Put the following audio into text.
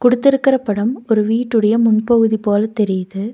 குடுத்திருக்குற படம் ஒரு வீட்டுடைய முன்பகுதி போல தெரியுது.